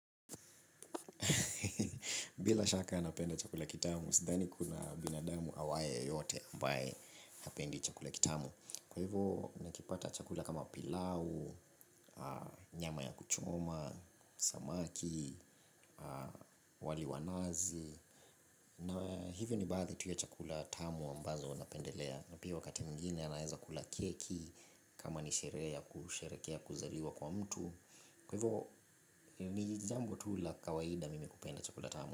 Bila shaka napenda chakula kitamu, sidhani kuna binadamu awaye yeyote ambaye hapendi chakula kitamu. Kwa hivyo, nikipata chakula kama pilau, nyama ya kuchoma, samaki, wali wa nazi. Na hivyo ni baadhi tu ya chakula tamu ambazo napendelea. Na pia wakati mwingine naweza kula keki kama ni sherehe ya kusherehekea kuzaliwa kwa mtu. Kwa hivyo, ni jambo tu la kawaida mimi hupenda chakula tamu.